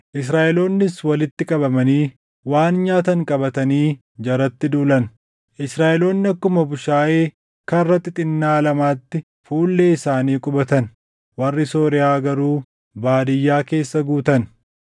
Israaʼeloonnis walitti qabamanii waan nyaatan qabatanii jaratti duulan. Israaʼeloonni akkuma bushaayee karra xixinnaa lamaatti fuullee isaanii qubatan; warri Sooriyaa garuu baadiyyaa keessa guutan.